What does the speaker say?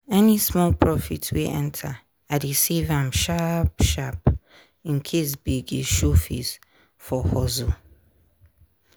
any small profit wey enter i dey save am sharp-sharp in case gbege show face for hustle.